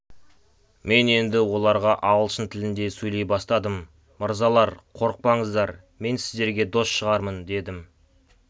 мен енді оларға ағылшын тілінде сөйлей бастадым мырзалар қорықпаңыздар мен сіздерге дос шығармын дедім